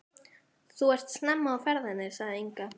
Þú ert snemma á ferðinni, sagði Inga.